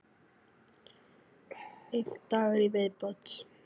Einn dagur í viðbót!